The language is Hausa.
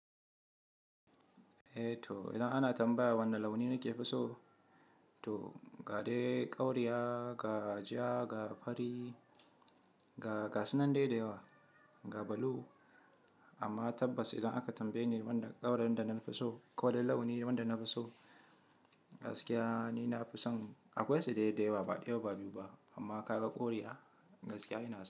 Eh to idan ana tambaya wane launi nake fi so, to ga dai ƙauriya, ga ja, ga fari, ga gasinan dai dayawa, ga blue. Amma tabbas idan aka tambaye ni wanda ƙaurin da na fi so ko dai launi wanda na fi so, gaskiya ni na fi son akwai su dai dayawa ba, ɗaya ba biyu ba. Amma ka ga ƙauriya gaskiya ina so.